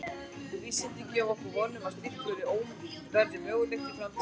Vísindin gefa okkur von um að slíkt verði mögulegt í framtíðinni.